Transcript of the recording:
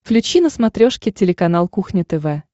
включи на смотрешке телеканал кухня тв